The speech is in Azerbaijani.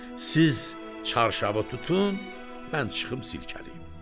Siz çarşavı tutun, mən çıxım silkələyim.